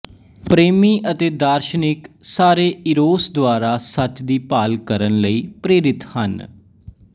ਪ੍ਰੇਮੀ ਅਤੇ ਦਾਰਸ਼ਨਿਕ ਸਾਰੇ ਈਰੋਸ ਦੁਆਰਾ ਸੱਚ ਦੀ ਭਾਲ ਕਰਨ ਲਈ ਪ੍ਰੇਰਿਤ ਹਨ